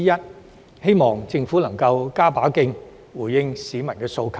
我希望政府能加把勁，回應市民的訴求。